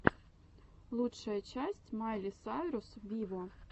лучшая часть майли сайрус виво